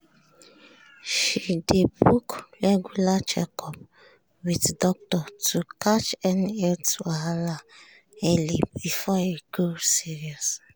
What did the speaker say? she dey book regular checkup with doctor to catch any health wahala early before e go serious.